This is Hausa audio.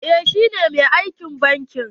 Eh shi ne mai aikin banki.